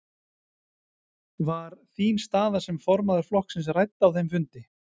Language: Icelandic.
Var þín staða sem formaður flokksins rædd á þeim fundi?